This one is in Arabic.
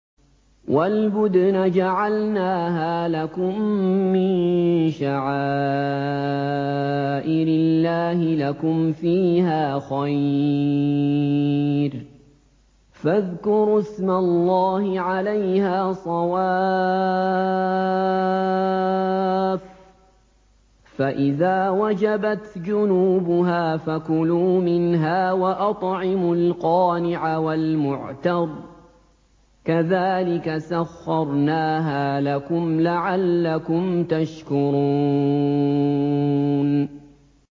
وَالْبُدْنَ جَعَلْنَاهَا لَكُم مِّن شَعَائِرِ اللَّهِ لَكُمْ فِيهَا خَيْرٌ ۖ فَاذْكُرُوا اسْمَ اللَّهِ عَلَيْهَا صَوَافَّ ۖ فَإِذَا وَجَبَتْ جُنُوبُهَا فَكُلُوا مِنْهَا وَأَطْعِمُوا الْقَانِعَ وَالْمُعْتَرَّ ۚ كَذَٰلِكَ سَخَّرْنَاهَا لَكُمْ لَعَلَّكُمْ تَشْكُرُونَ